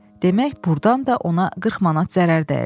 Demək burdan da ona 40 manat zərər dəyirdi.